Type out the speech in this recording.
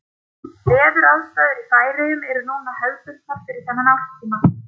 Veðuraðstæður í Færeyjum eru núna hefðbundnar fyrir þennan árstíma.